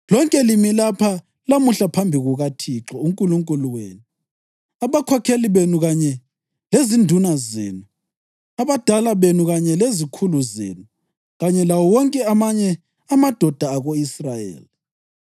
Lonke limi lapha lamuhla phambi kukaThixo uNkulunkulu wenu, abakhokheli benu kanye lezinduna zenu, abadala benu kanye lezikhulu zenu, kanye lawo wonke amanye amadoda ako-Israyeli,